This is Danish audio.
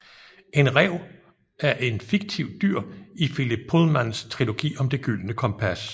En ræv er en fiktivt dyr i Philip Pullmans trilogi om Det gyldne kompas